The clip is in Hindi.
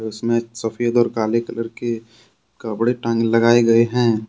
इसमें सफेद और काले कलर के कपड़े टांगे लगाए गए हैं।